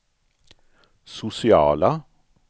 sociala